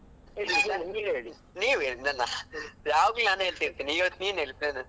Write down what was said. ನೀವ್ ಹೇಳಿ ಯಾವಾಗ್ಲೂ ನಾನ್ ಹೇಳ್ತಾ ಇರ್ತೇನೆ, ಇವತ್ತು ನೀವ್ ಹೇಳಿ plan.